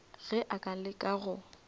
ge a ka leka go